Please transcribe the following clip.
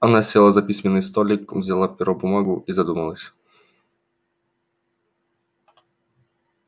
она села за письменный столик взяла перо бумагу и задумалась